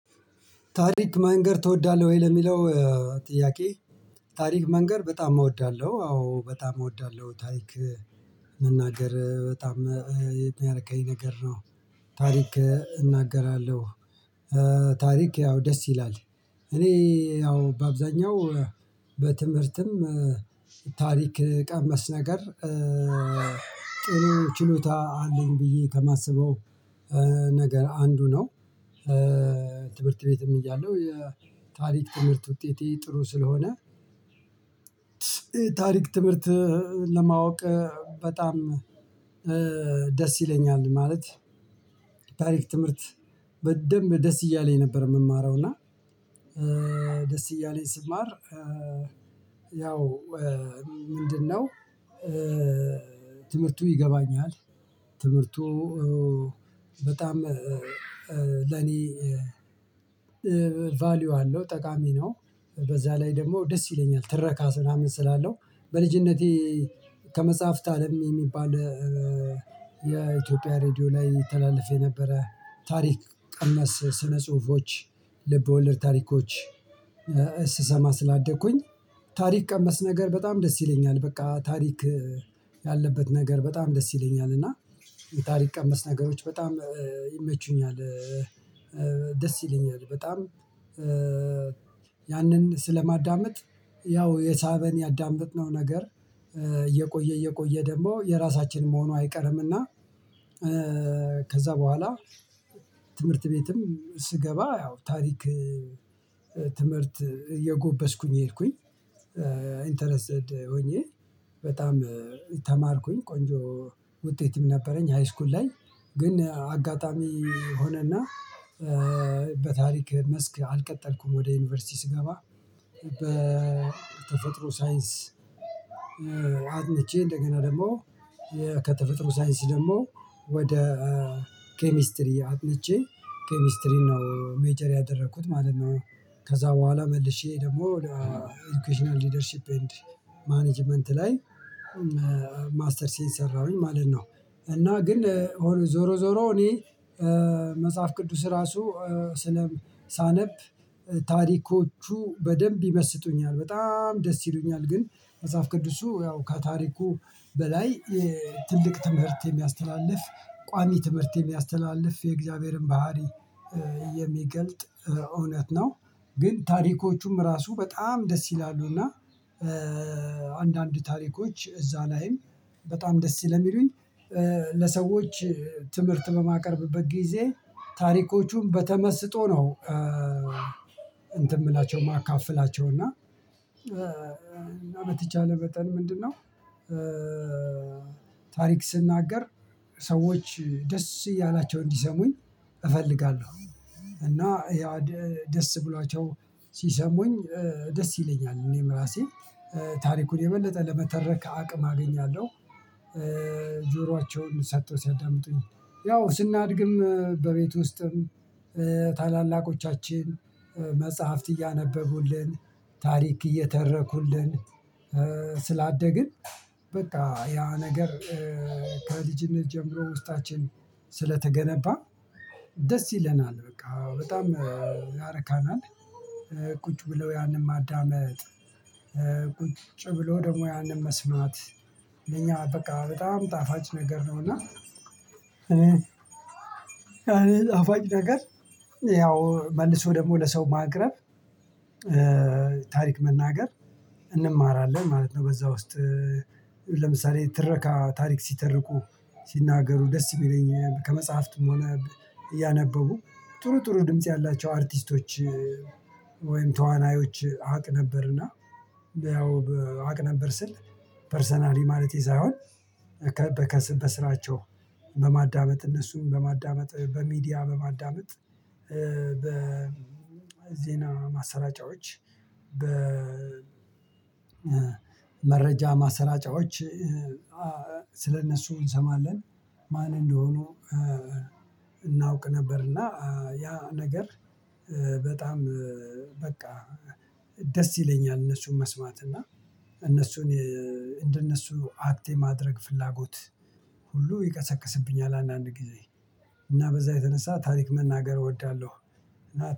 ታሪክ መንገር ትወዳለህ ወይ ለሚለው ጥያቄ? ታሪክ መንገር በጣም እወዳለሁ አዎ በጣም እወዳለሁ ታሪክ መናገር በጣም የሚያርካኝ ነገር ነው። ታሪክ እናገራለሁ። ታሪክ ያው ደስ ይላል እኔ ያው በአብዛኛው በትምህርትም ታሪክ ቀመስ ነገር ጥሩ ችሎታ አለኝ ብዬ ከማስበው ነገር አንዱ ነው። ትምህርት ቤትም እያለው የታሪክ ትምህርት ውጤቴ ጥሩ ስለሆነ ታሪክ ትምህርት ለማወቅ በጣም ደስ ይለኛል ማለት። ታሪክ ትምህርት በደንብ ደስ እያለኝ ነበር የምማረው እና ደስ እያለኝ ስማር። ያው ምንድነው ትምህርቱ ይገባኛል። ትምህርቱ በጣም ለኔ ቫልዩ አለው ጠቃሚ ነው። በዛ ላይ ደግሞ ደስ ይለኛል ትረካ ስራም ስላለው። በልጅነቴ ከመጽሐፍት አለም የሚባል የኢትዮጵያ ሬድዮ ላይ ይተላልፍ የነበረ ታሪክ ቀመስ ስነ ጽሁፎች ልብ ወለድ ታሪኮች ስሰማ ስላደግኩኝ ታሪክ ቀመስ ነገር በጣም ደስ ይለኛል። በቃ ታሪክ ያለበት ነገር በጣም ደስ ይለኛል እና የታሪክ ቀመስ ነገሮች በጣም ይመቹኛል። ደስ ይለኛል በጣም ያንን ስለማዳምጥ ያው የሳበን ያዳመጥነው ነገር እየቆየ እየቆየ ደግሞ የራሳችን መሆኑ አይቀርምና። ከዛ በኋላ ትምህርት ቤትም ስገባ ያው ታሪክ ትምህርት እየጎበዝኩኝ የሄድኩኝ ሄድኩኝ ኢንተረስትድ ሆኜ በጣም ተማርኩኝ ቆንጆ ውጤትም ነበረኝ። ሃይስኩል ላይ ግን አጋጣሚ ሆነና በታሪክ መስክ አልቀጠልኩም። ወደ ዩኒቨርሲቲ ስገባ በተፈጥሮ ሳይንስ አጥንቼ እንደገና ደግሞ ከተፈጥሮ ሳይንስ ደግሞ ወደ ኬሚስትሪ አጥንቼ ኬሚስትሪ ነው ሜጀር ያደረኩት ማለት ነው። ከዛ በኋላ መልሼ ደግሞ ለኢዱኬሽናል ሊደርሺፕ ኤንድ ማኔጅመንት ላይ ማስተርሴን ሰራሁኝ ማለት ነው። እና ግን ዞሮ ዞሮ እኔ መጽሐፍ ቅዱስ ራሱ ስለ ሳነብ ታሪኮቹ በደንብ ይመስጡኛል በጣም ደስ ይሉኛል። ግን መጽሐፍ ቅዱስ እሱ ያው ከታሪኩ በላይ ትልቅ ትምህርት የሚያስተላልፍ ቋሚ ትምህርት የሚያስተላልፍ የእግዚአብሔርን ባህሪ የሚገልጥ እውነት ነው። ግን ታሪኮቹም ራሱ በጣም ደስ ይላሉና አንዳንድ ታሪኮች እዛ ላይም በጣም ደስ ስለ ሚሉኝ ለሰዎች ትምህርት በማቀርብበት ጊዜ ታሪኮቹም በተመስጦ ነው እንትን የምላቸው ማካፈላቸው እና። በተቻለ መጠን ምንድነው? ታሪክ ስናገር ሰዎች ደስ ያላቸው እንዲሰሙኝ እፈልጋለሁ እና ደስ ብሏቸው ሲሰሙኝ ደስ ይለኛል እኔም ራሴ ታሪኩን የበለጠ ለመተረክ አቅም አገኛለሁ። ጆሯቸውን ሰጥተው ሲያዳምጡኝ ያው ስናድግም በቤት ውስጥም ታላላቆቻችን መጽሐፍት እያነበቡልን ታሪክ እየተረኩልን ስላደግን በቃ ያ ነገር ከልጅነት ጀምሮ ውስጣችን ስለተገነባ ደስ ይለናል በቃ በጣም ያረካናል። ቁጭ ብለው ያንን ማዳመጥ ቁጭ ብሎ ደግሞ ያንን መስማት ለኛ በቃ በጣም ጣፋጭ ነገር ነውና። እና ጣፋጭ ነገር ያው መልሶ ደግሞ ለሰው ማቅረብ ታሪክ መናገር እንማራለን ማለት ነው። በዛ ውስጥ ለምሳሌ ትረካ ታሪክ ሲተርኩ ሲናገሩ ደስ የሚለኝ ከመጽሐፍትም ሆነ እያነበቡ ጥሩ ጥሩ ድምጽ ያላቸው አርቲስቶች ወይም ተዋናዮች አቅ ነበርና። ያው አቅ ነበር ስል ፐርሰናሊ ማለቴ ሳይሆን ከከስም በስራቸው በማዳመጥ እነርሱን በማዳመጥ በሚዲያ በማዳመጥ በ በዜና ማሰራጫዎች በ መረጃ ማሰራጫዎች ስለእነሱ እንሰማለን ማን እንደሆኑ እናውቅ ነበርና ያ ነገር በጣም በቃ ደስ ይለኛል። እነርሱን መስማት እና እነርሱን እንደነሱ አክት የማድረግ ፍላጎት ሁሉ ይቀሰቅስብኛል አንዳንድ ጊዜ እና በዛ የተነሳ ታሪክ መናገር እወዳለሁ።